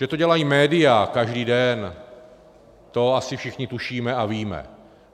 Že to dělají média každý den, to asi všichni tušíme a víme.